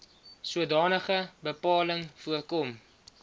sodanige bepaling voorkom